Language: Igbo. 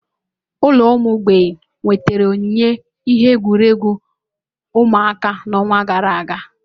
Ụlọ ụmụ mgbei nwetara onyinye ihe egwuregwu ụmụaka n'ọnwa gara aga.